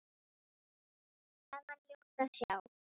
Þar var ljótt að sjá.